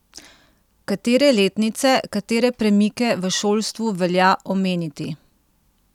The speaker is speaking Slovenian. Katere letnice, katere premike v šolstvu velja omeniti?